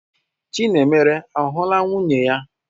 Chinemere ahụla nwunye ya?